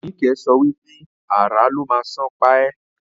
Nike so wipe "Àrà ló má sàn pa e"